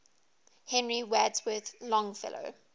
henry wadsworth longfellow